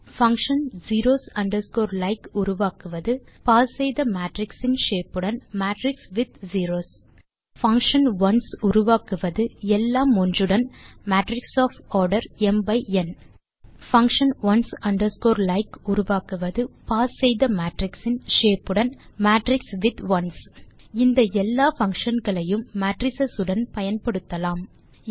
function zeros underscore like உருவாக்குவது pass செய்த matrix இன் ஷேப் உடன் matrix with zeros function ones உருவாக்குவது எல்லாம் ஒன்று உடன் matrix of order m by n function ones underscore like உருவாக்குவது பாஸ் செய்த மேட்ரிக்ஸ் இன் ஷேப் உடன் மேட்ரிக்ஸ் வித் ஒன்ஸ் இந்த எல்லா பங்ஷன் களையும் மேட்ரிஸ் உடன் பயன்படுத்தலாம்